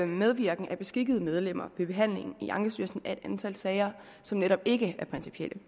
medvirken af beskikkede medlemmer ved behandlingen i ankestyrelsen i et antal sager som netop ikke er principielle